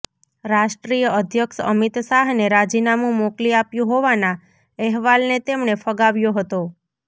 રાષ્ટ્રીય અધ્યક્ષ અમિતશાહને રાજીનામું મોકલી આપ્યું હોવાના અહેવાલને તેમણે ફગાવ્યો હતો